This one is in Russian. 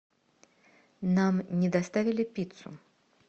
нам не доставили пиццу